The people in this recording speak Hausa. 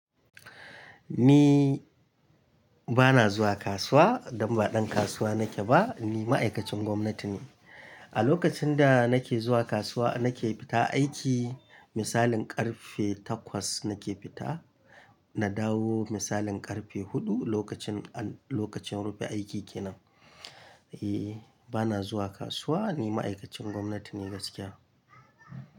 Ni bana zuwa kasuwa don ba ɗan kasuwa nake ba, ni ma'aikacin gwamnati ne. A lokacin da nake zuwa kasuwa nake fita aiki misalin karfe takwas nake fita, na dawo misalin karfe huɗu lokacin, lokacin rufe aiki kenan. E, bana zuwa kasuwa ni ma'aikacin gwamnati ne gaskiya.